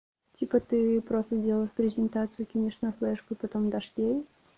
типа ты просто делаешь презентацию кинешь на флешку потом дашь ей